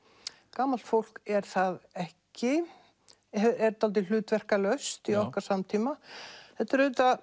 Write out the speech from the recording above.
gamalt fólk er það ekki er dálítið hlutverkalaust í okkar samtíma þetta er auðvitað